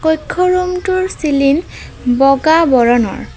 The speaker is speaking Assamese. কক্ষ ৰুমটোৰ চিলিং বগা বৰণৰ।